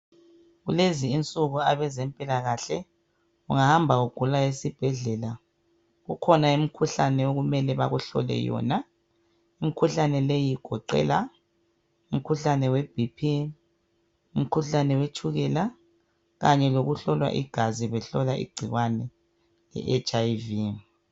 Kulezi insuku abezempilakahle, ungahamba ugula esibhedlela. Kukhona imikhuhlane okumele bakuhlole yona . imkhuhlane leyi igoqela , umkhuhlane we BP , umkhuhlane wetshukela .Kanye lokuhlola igazi behlola igcikwane iHIV.